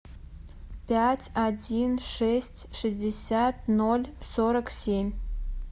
пять один шесть шестьдесят ноль сорок семь